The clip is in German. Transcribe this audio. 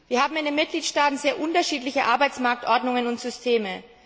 Wir haben in den Mitgliedstaaten sehr unterschiedliche Arbeitsmarktordnungen und systeme.